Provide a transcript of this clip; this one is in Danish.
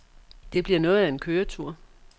Det bliver noget af en køretur.